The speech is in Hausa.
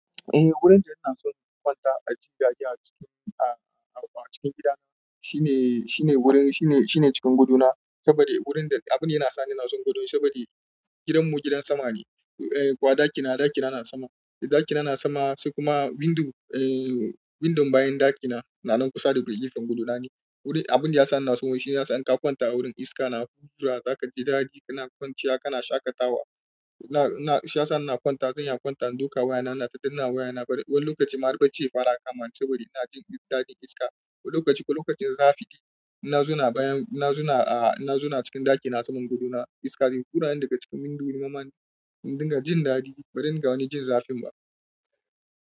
Eh wurin da ina son kwanta a ji daɗi a cikin a-a cikin gidana shine, shine wurin shine, shine cikin gadona saboda wurin da abun da yana sa ni na so gadon saboda gidanmu gidan sama ne. Eh kuwa ɗakina, ɗakina na sama. Ɗakina na sama sai kuma window eh windon bayan ɗakina na nan kusa daga gefen gadona ne. Wuri abun da yasa ni na so shine yana sa in ka kwanta a wurin iska na hura za ka ji daɗi kana kwanciya kana shaƙatawa. Ina, ina shiyasa ina kwanta zan iya kwanta in duka wayana na tadina wayana bari wani lokaci ma har barci ya fara kama saboda ina jin daɗi iska. Wani lokaci, wani lokacin zafi ne. Na zauna bayan na zauna, na zo na cikin ɗakina saman godona iska wuraren daga cikin windo mamane. Don ga jin daɗi bari ga wani jin zafin ba.